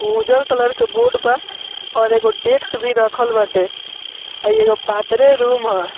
उजर कलर के बोर्ड बा और एगो डेस्क भी रखल बाटे एगो पातरे रूम ह।